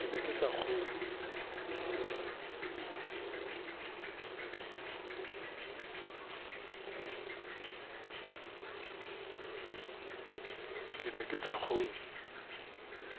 ke ne ke sa kgolwe